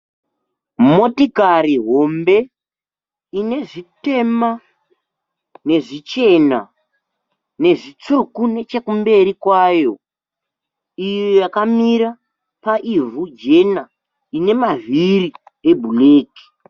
Motikari hombe ine zvitema nezvichena nezvitsvuku nechekumberi kwayo. Iyo yakamira paivhu jena ine mavhiri eblack.